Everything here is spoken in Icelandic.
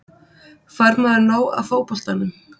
Fær maður nóg af fótboltanum?